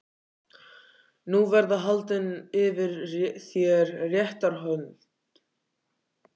Nú verða haldin yfir þér réttarhöld, Skapti Skúlason.